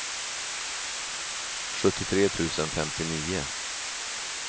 sjuttiotre tusen femtionio